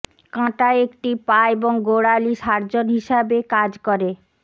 কাঁটা একটি পা এবং গোড়ালি সার্জন হিসাবে কাজ করে